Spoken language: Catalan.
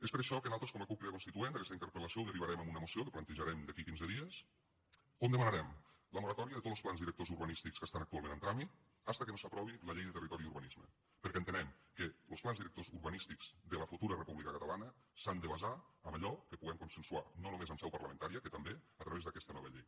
és per això que nosaltres com a cup crida constituent d’aquesta interpel·lació ho derivarem a una moció que plantejarem d’aquí a quinze dies on demanarem la moratòria de tots los plans directors urbanístics que estan actualment en tràmit fins que no s’aprovi la llei de territori i urbanisme perquè entenem que los plans directors urbanístics de la futura república catalana s’han de basar en allò que puguem consensuar no només en seu parlamentària que també a través d’aquesta nova llei